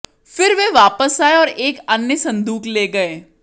फिर वे वापस आये और एक अन्य संदूक ले गये